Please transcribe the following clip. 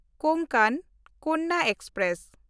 Konkan Kanya express